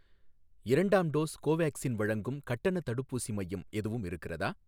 இரண்டாம் டோஸ் கோவேக்சின் வழங்கும் கட்டணத் தடுப்பூசி மையம் எதுவும் இருக்கிறதா?